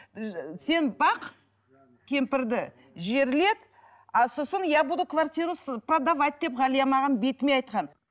сен бақ кемпірді жерлет а сосын я буду квартиру продавать деп ғалия маған бетіме айтқан